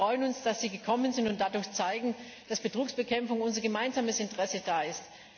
Wir freuen uns, dass Sie gekommen sind und dadurch zeigen, dass Betrugsbekämpfung unser gemeinsames Interesse ist.